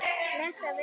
Bless afi.